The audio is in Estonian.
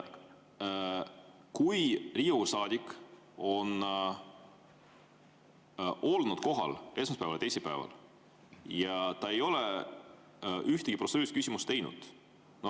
Kui Riigikogu saadik on olnud kohal esmaspäeval ja teisipäeval ja ta ei ole ühtegi protseduurilist küsimust teinud …